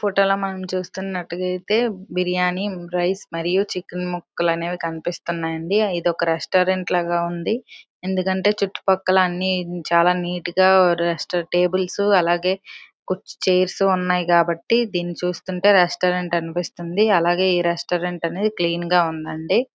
Photo లో మనం చూస్తున్నట్టుగా అయితే బిర్యాని రైస మరియు చికెన్ ముక్కలు అనేవి కనిపిస్తున్నాయండీ ఇదొక రెస్టారెంట్ లాగా ఉంది ఎందుకంటే చుట్టుపక్కల అన్నీ కూడా చాలా నీట్ గా రెస్టారెంట్ టేబుల్స్ అలాగే కుర్చీ చైర్స్ ఉన్నాయి కాబట్టి దీన్ని చూస్తుంటే రెస్టారెంట్ అనిపిస్తుంది. అలాగే ఈ రెస్టారెంట్ అనేది క్లీన్ గా ఉందడి.